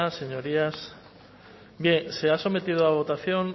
señorías se ha sometido a votación